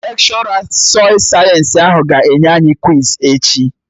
Lekshọra sọị sayensị ahụ ga-enye anyị kwiz echi